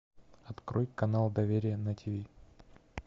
открой канал доверие на тиви